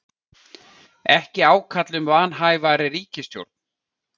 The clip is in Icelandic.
Ekki ákall um vanhæfari ríkisstjórn